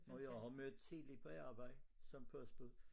Når jeg har mødt tidligt på arbejde som postbud